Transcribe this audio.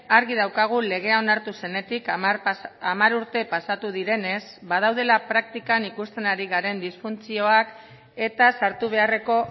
argi daukagu legea onartu zenetik hamar urte pasatu direnez badaudela praktikan ikusten ari garen disfuntzioak eta sartu beharreko